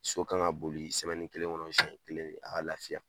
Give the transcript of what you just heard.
So kan ka boli kelen kɔnɔ senɲɛ kelen a ka lafiya